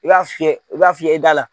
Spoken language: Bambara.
I b'a fiyɛ i b'a fiyɛ i da la.